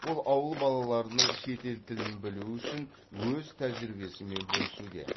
ол ауыл балаларының шетел тілін білуі үшін өз тәжірибесімен бөлісуде